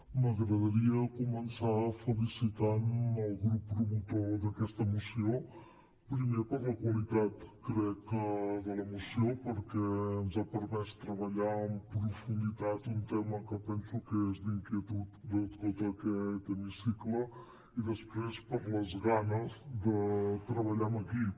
m’agradaria començar felicitant el grup promotor d’aquesta moció primer per la qualitat crec de la moció perquè ens ha permès treballar en profunditat un tema que penso que és d’inquietud de tot aquest hemicicle i després per les ganes de treballar amb equip